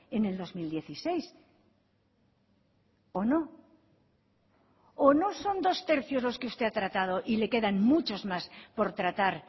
en el dos mil dieciséis o no o no son dos tercios los que usted ha tratado y le quedan muchos más por tratar